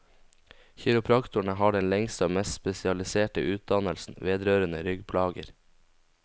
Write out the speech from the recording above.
Kiropraktorene har den lengste og mest spesialiserte utdannelse vedrørende ryggplager.